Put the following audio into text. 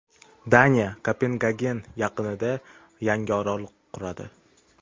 Daniya Kopengagen yaqinida yangi orol quradi.